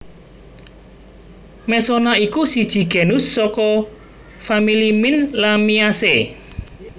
Mesona iku siji genus saka famili mint Lamiaceae